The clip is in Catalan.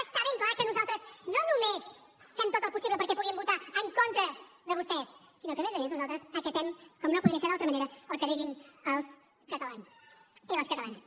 està ben clar que nosaltres no només fem tot el possible perquè puguin votar en contra de vostès sinó que a més a més nosaltres acatem com no podria ser d’altra manera el que diguin els catalans i les catalanes